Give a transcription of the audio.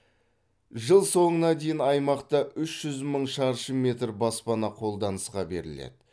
жыл соңына дейін аймақта үш жүз мың шаршы метр баспана қолданысқа беріледі